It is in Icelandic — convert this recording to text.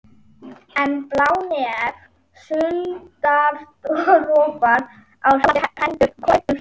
En blá nef, sultardropar og skjálfandi hendur komu upp um þá.